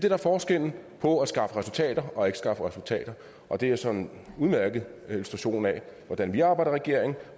er forskellen på at skaffe resultater og ikke skaffe resultater og det er sådan en udmærket illustration af hvordan vi arbejder i regeringen og